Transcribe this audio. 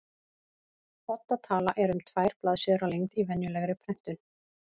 Odda tala er um tvær blaðsíður að lengd í venjulegri prentun.